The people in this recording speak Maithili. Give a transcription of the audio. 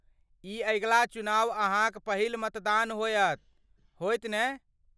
ई अगिला चुनाव अहाँक पहिल मतदान होयत, होयत ने?